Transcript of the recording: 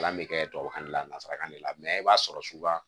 Kalan bɛ kɛ tubabukan ne lasarakan de la i b'a sɔrɔ suba